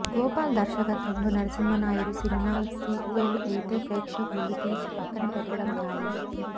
గోపాల్ దర్శకత్వంలో Narasimha Naidu cinema sequel అయితే ప్రేక్షకులు తీసి పక్కన పెట్టడం ఖాయం